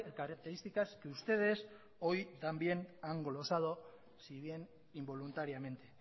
características que ustedes hoy dan bien han glosado si bien involuntariamente